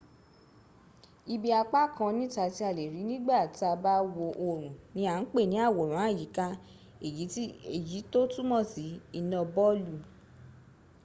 ibi apá kan níta tí a lè̀rí nígbà tàà bá wo oòrùn ní à ń pè̀ ní àwòrán-àyíká èyí tó túnmò sí iná bọlù